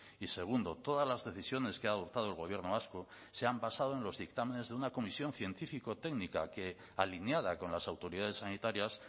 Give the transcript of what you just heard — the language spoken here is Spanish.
y segundo todas las decisiones que ha adoptado el gobierno vasco se han basado en los dictámenes de una comisión científico técnica que alineada con las autoridades sanitarias